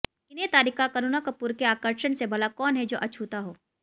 सिने तारिका करीना कपूर के आकर्षण से भला कौन है जो अछूता हो